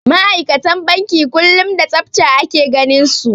Ma'aikatan banki kullum da tsafta ake ganinsu.